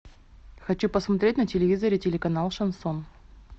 хочу посмотреть на телевизоре телеканал шансон